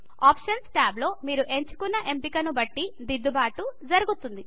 options tab లో మీరు ఎంచుకున్న ఎంపిక ను బట్టి దిద్దుబాట్లు జరుగుతాయి